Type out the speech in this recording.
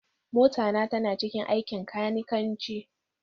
Mota na tana cikin aikin kanikanci